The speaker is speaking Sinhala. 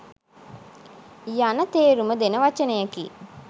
යන තේරුම දෙන වචනයකි.